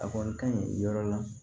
A kɔni ka ɲi yɔrɔ la